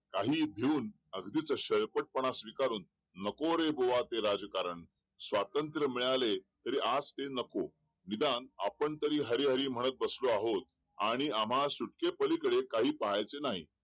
काही मिळून अगदीच स्वंयपट पणा स्वीकारून नको रे भाव ते राज्यकरण स्वतंत्र मिळाले तरी आज ते नको विधान आपण तरी हरी-हरी म्हणत बसलो आहो आणि आम्हाला सुटके पळी कडे काही पाहायचं नाही